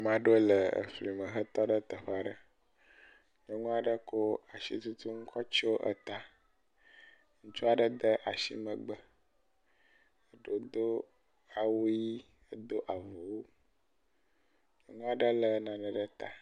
Ame aɖewo le efli me hetɔ ɖe teƒe aɖe. nyɔnu aɖe ko asitutunu kɔ tso etae. Ŋutsu aɖe de asi megbe. Eɖewo do awu ʋi, edo awuwo. Ame aɖe le nane ɖe eta.